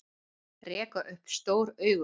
Reka upp stór augu